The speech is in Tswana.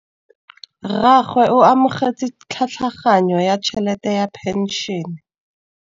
Rragwe o amogetse tlhatlhaganyô ya tšhelête ya phenšene.